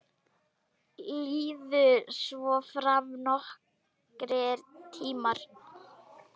Liðu svo fram nokkrir tímar.